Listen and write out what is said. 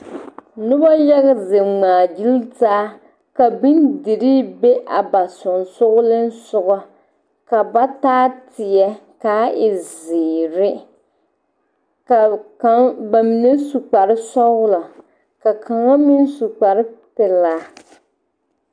Noba yaga zeŋ ŋmaagyili taa ka bondirii be a ba sensoglesoga ka ba taa teɛ k,a e zeere ka kaŋ ba mine su kparesɔglɔ ka kaŋa meŋ su kparepelaa.